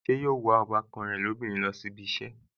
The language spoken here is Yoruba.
Ṣé yóò wa ọbàkan rẹ̀ lóbìnrin lọ sí ibi ìṣẹ́